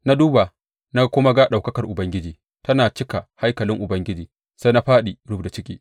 Na duba na kuma ga ɗaukakar Ubangiji tana cika haikalin Ubangiji, sai na fāɗi rubda ciki.